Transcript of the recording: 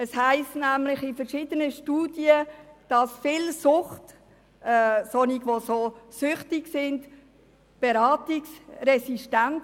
Es heisst nämlich in verschiedenen Studien, viele Süchtige seien beratungsresistent.